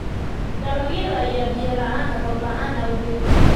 Dalagyada ayaa biyo la'aana roob la'aanta awgeed.